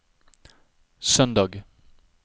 søndag